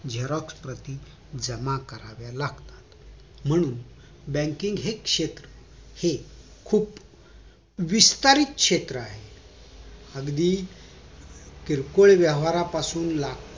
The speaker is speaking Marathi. xerox प्रति जमा कराव्या लागतात म्हणून banking हे क्षेत्र खूप विस्तारित क्षेत्र आहे अगदी किरकोळ व्यवहारापासून ते लाखो